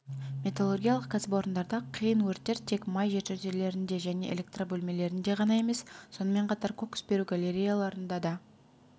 металлургиялық кәсіпорындарда қиын өрттер тек май жертөлелерінде және электробөлмелерінде ғана емес сонымен қатар кокс беру галереяларында да